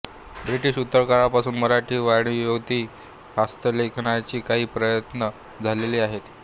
British उत्तरकाळापासून मराठी वाड्मयेतिहासलेखनाचे काही प्रयत्न झालेले आहेत